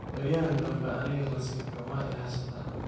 Beriyahan dambe aniga nasib xumo iihaysata.